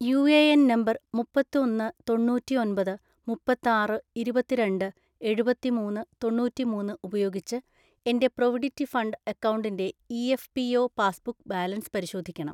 U A N number മുപ്പത്തൊന്ന് തൊണ്ണൂറ്റി ഒമ്പത് മുപ്പതാറ് ഇരുപത്തരണ്ട് എഴുപത്തി മൂന്ന് തൊണ്ണൂറ്റി മൂന്ന് ഉപയോഗിച്ച് എൻ്റെ പ്രൊവിഡിറ്റ് ഫണ്ട് അക്കൗണ്ടിൻ്റെ E F P O passbook balance പരിശോധിക്കണം.